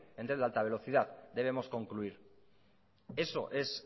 en tren de alta velocidad debemos concluir eso es